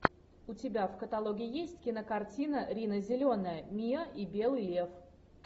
у тебя в каталоге есть кинокартина рина зеленая миа и белый лев